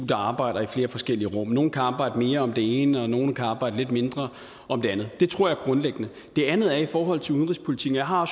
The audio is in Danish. der arbejder i flere forskellige rum nogle kan arbejde mere om det ene og nogle kan arbejde lidt mindre om det andet det tror jeg grundlæggende det andet er i forhold til udenrigspolitikken jeg har